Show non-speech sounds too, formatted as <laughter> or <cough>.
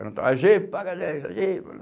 <unintelligible> á gê, paga dez, á gê.